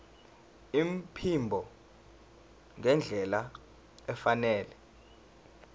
iphimbo ngendlela efanele